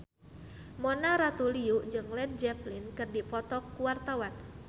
Mona Ratuliu jeung Led Zeppelin keur dipoto ku wartawan